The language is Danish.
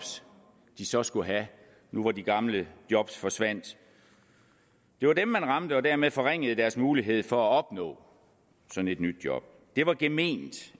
de så skulle have nu hvor de gamle job forsvandt det var dem man ramte og dermed forringede deres mulighed for at opnå et nyt job det var gement